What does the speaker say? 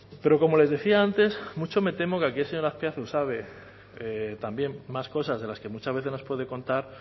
pero como les decía antes mucho me temo que aquí el señor azpiazu sabe también más cosas de las que muchas veces nos puede contar